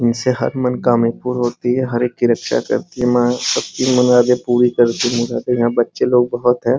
इनसे हर मनोकामना पूर्ण होती है हर एक की रक्षा करती है माँ सब की मुरादें पूरी करती हैं यहाँ बच्चे लोग बहोत है ।